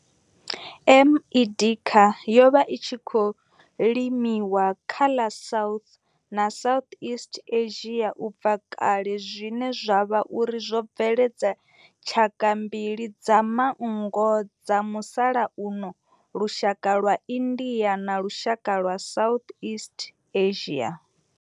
M. indica yo vha i tshi khou limiwa kha ḽa South na Southeast Asia ubva kale zwine zwa vha uri zwo bveledza tshaka mbili dza manngo dza musalauno, lushaka lwa India na lushaka lwa Southeast Asia.